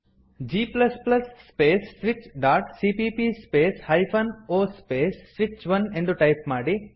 g space switch dot CPP space hyphen o space ಸ್ವಿಚ್1 ಎಂದು type ಮಾಡಿ